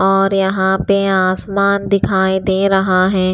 और यहाँ पे आसमान दिखाई दे रहा है।